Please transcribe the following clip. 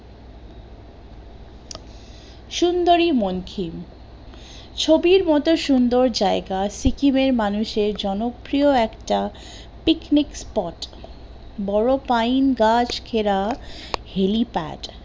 সুন্দরি মনকিন, ছবির মতো সুন্দর জায়গা সিকিমের মানুষের জনপ্রিয় একটা পিকনিক spot, বড় পাইন গাছ ঘেরা helipad